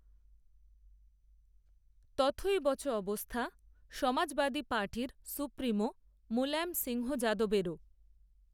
তথৈবচ অবস্থা, সমাজবাদী পার্টির সুপ্রিমো, মুলায়ম সিংহ যাদবেরও